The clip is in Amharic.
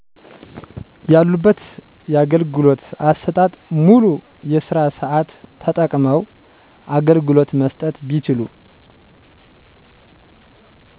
ያሉበት ያገልግሎት አሰጣጥ ሙሉ የስራ ሰአት ተጠቅመዉ አገልግሎት መስጠት ቢችሉ